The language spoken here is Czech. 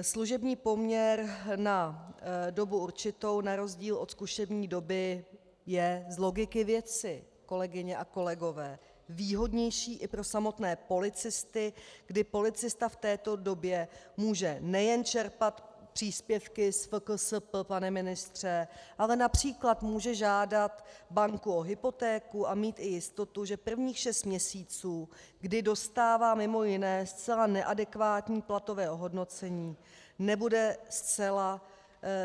Služební poměr na dobu určitou na rozdíl od zkušební doby je z logiky věci, kolegyně a kolegové, výhodnější i pro samotné policisty, kdy policista v této době může nejen čerpat příspěvky z FKSP, pane ministře, ale například může žádat banku o hypotéku a mít i jistotu, že prvních šest měsíců, kdy dostává mimo jiné zcela neadekvátní platové ohodnocení, nebude zcela